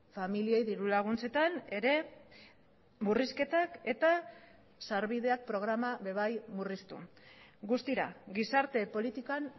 familiei dirulaguntzetan ere murrizketak eta sarbideak programa ere bai murriztu guztira gizarte politikan